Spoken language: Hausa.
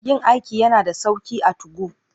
Yin aiki yana da sauƙi akan 2go.